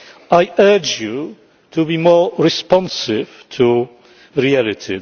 will. I urge you to be more responsive to reality.